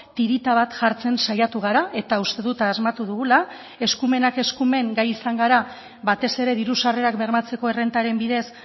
tirita bat jartzen saiatu gara eta uste dut asmatu dugula eskumenak eskumen gai izan gara batez ere diru sarrerak bermatzeko errentaren bidez